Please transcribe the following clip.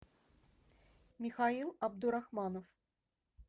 михаил абдурахманов